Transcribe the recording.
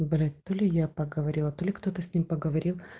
блять то ли я поговорила то ли кто-то с ним поговорил